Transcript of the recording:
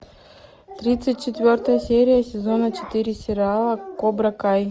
тридцать четвертая серия сезона четыре сериала кобра кай